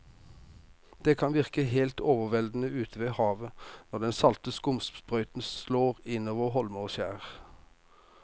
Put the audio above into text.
Det kan virke helt overveldende ute ved havet når den salte skumsprøyten slår innover holmer og skjær.